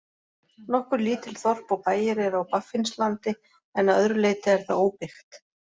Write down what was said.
Nokkur lítil þorp og bæir eru á Baffinslandi en að öðru leyti er það óbyggt.